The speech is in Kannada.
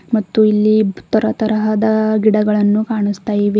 ಮತ್ತು ಇಲ್ಲಿ ತರತರಹದ ಗಿಡಗಳನ್ನು ಕಾಣುಸ್ತಾ ಇವೆ.